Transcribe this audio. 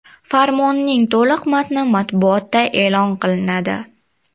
Farmonning to‘liq matni matbuotda e’lon qilinadi.